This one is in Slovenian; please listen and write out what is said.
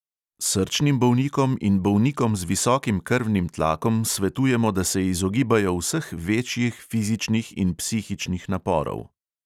Srčnim bolnikom in bolnikom z visokim krvnim tlakom svetujemo, da se izogibajo vseh večjih fizičnih in psihičnih naporov.